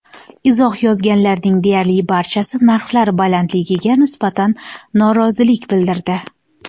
Izoh yozganlarning deyarli barchasi narxlar balandligiga nisbatan norozilik bildirdi.